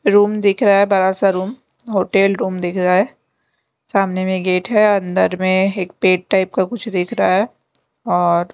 room दिख रहा है बड़ा सा रूम होटल रूम दिख रहा है सामने में गेट है अंदर में एक पेट टाइप का कुछ दिख रहा है और ---